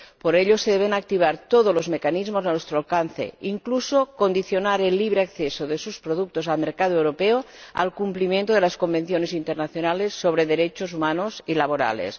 Por ello, se deben activar todos los mecanismos a nuestro alcance, incluso condicionar el libre acceso de sus productos al mercado europeo al cumplimiento de las convenciones internacionales sobre derechos humanos y laborales.